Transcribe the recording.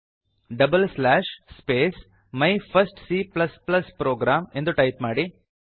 double slash space my first C program ಎಂದು type ಮಾಡಿ